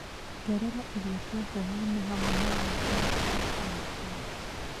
ongerera irio cia hwaĩ-inĩ hamwe na Laura wa kana thaa mũgwanja